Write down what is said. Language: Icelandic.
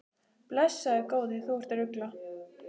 Blessaður góði, þú ert að rugla!